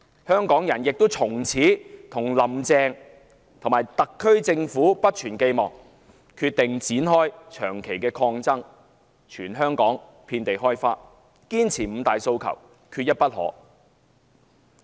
香港人亦從此不再對"林鄭"及特區政府存有寄望，決定展開在全港遍地開花的長期抗爭，堅持"五大訴求，缺一不可"。